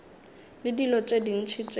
le dilo tše dintši tšeo